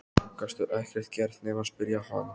Gastu ekkert gert nema spyrja hann?